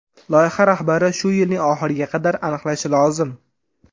Loyiha rahbari shu yilning oxiriga qadar aniqlanishi lozim.